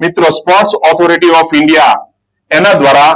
મિત્રો sports authority of India એના દ્વારા